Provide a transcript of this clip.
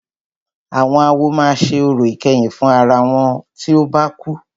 Àwọn awo máà ṣe orò ìkẹyìn fún àwọn ará wọn tí o bá kú.